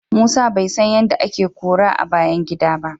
Musa bai san yadda ake kora a bayan gida ba.